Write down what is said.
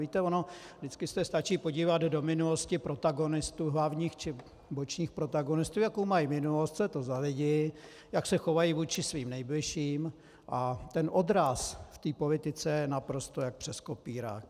Víte, ono vždycky se stačí podívat do minulosti protagonistů, hlavních či bočních protagonistů, jakou mají minulost, co je to za lidi, jak se chovají vůči svým nejbližším, a ten odraz v politice je naprosto jak přes kopírák.